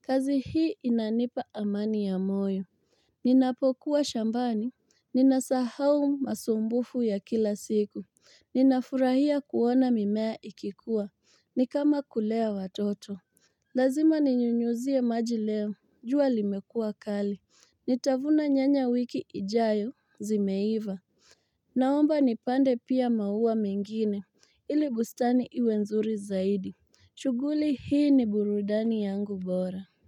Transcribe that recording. Kazi hii inanipa amani ya moyo. Ninapokuwa shambani. Ninasahau masumbufu ya kila siku. Ninafurahia kuona mimea ikikuwa. Ni kama kulea watoto. Lazima ninyunyuzie ya maji leo. Jua limekuwa kali. Nitavuna nyanya wiki ijayo zimeiva Naomba nipande pia maua mengine Ili bustani iwe nzuri zaidi shughuli hii ni burudani yangu bora.